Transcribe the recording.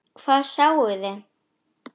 Hvað sáuði?